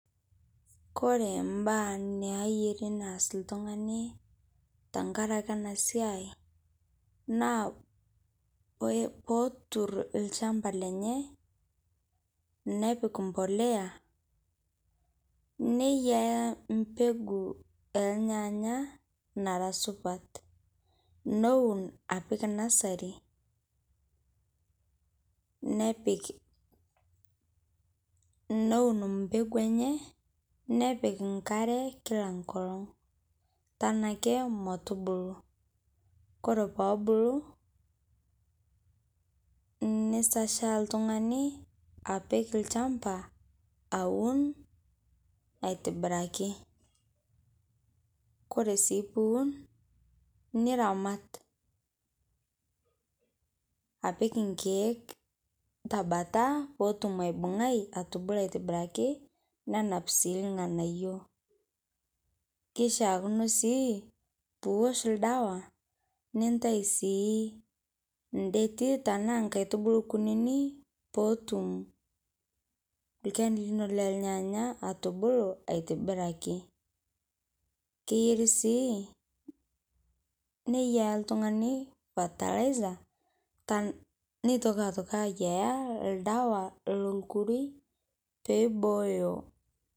Kore mbaa nayeeri neas ltung'ani tang'araki ana sia naa poo otuur lchambaa lenye nepiik mbolea neyaaya mbeguu e lnyanya nara supaat. Nouun apiik nasarii nepiik neuun mbeguu enye nepiik nkaare kila nkolong' tanake motubuluu. Kore poo obuluu neseshaa ltung'ani apiik lchambaa auun aitibiraki. Kore sii puu uun niramaat apiik nkiek ta mbaata potuum aibung'aii atubuluu aitibiraki nenaap sii ilng'anaiyo. Keishakino sii puu oosh ldewa nintaai sii ndeeti tana nkaitubuluu nkunini poo otuum lkeeni linoo le lnyanya atubuluu aitibiraki. Keyeeri sii neiyaa ltung'ani fertilizer taa neitokii aitokii aiyea ldewa lo lkurui pee ibooyo.